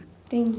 Entendi.